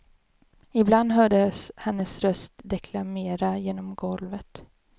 Ibland hördes hennes röst deklamera genom golvet.